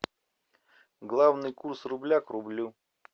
главный курс рубля к рублю